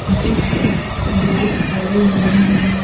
जिस पर लोग खड़े हुए हैं।